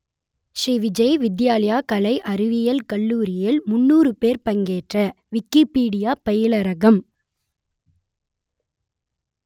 ஸ்ரீ விஜய் வித்யாலயா கலை அறிவியல் கல்லூரியில் முன்னூறு பேர் பங்கேற்ற விக்கிப்பீடியா பயிலரங்கம்